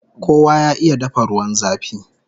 Kowa ya iya dafa ruwan zafi!